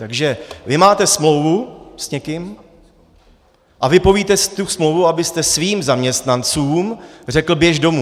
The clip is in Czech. Takže vy máte smlouvu s někým a vypovíte si tu smlouvu, abyste svým zaměstnancům řekl: běž domů.